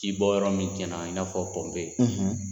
Ji bɔ yɔrɔ min tiɲɛna i n'a fɔ pɔnpe,